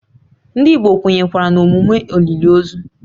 Ndị Igbo kwenyere na emume olili ozu